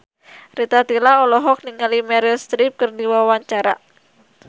Rita Tila olohok ningali Meryl Streep keur diwawancara